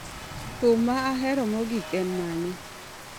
Thum ma ahero mogik en mane